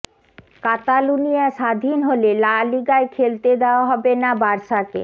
কাতালুনিয়া স্বাধীন হলে লা লিগায় খেলতে দেওয়া হবে না বার্সাকে